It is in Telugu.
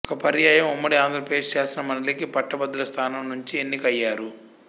ఒక పర్యాయం ఉమ్మడి ఆంధ్రప్రదేశ్ శాసనమండలి కీ పట్టభద్రుల స్థానం నుంచీ ఎన్నిక అయ్యారు